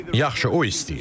Yaxşı, o istəyir.